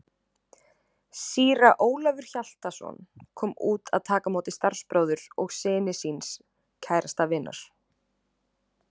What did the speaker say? Síra Ólafur Hjaltason kom út að taka á móti starfsbróður og syni síns kærasta vinar.